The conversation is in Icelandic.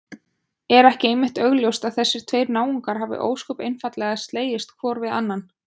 Er ekki einmitt augljóst að þessir tveir náungar hafa ósköp einfaldlega slegist hvor við annan?